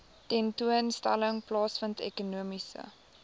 tentoonstelling plaasvind ekonomiese